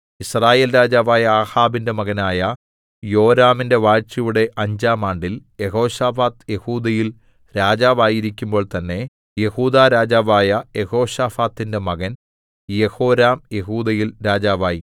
യിസ്രായേൽ രാജാവായ ആഹാബിന്റെ മകനായ യോരാമിന്റെ വാഴ്ചയുടെ അഞ്ചാം ആണ്ടിൽ യെഹോശാഫാത്ത് യെഹൂദയിൽ രാജാവായിരിക്കുമ്പോൾ തന്നെ യെഹൂദാ രാജാവായ യെഹോശാഫാത്തിന്റെ മകൻ യെഹോരാം യെഹൂദയിൽ രാജാവായി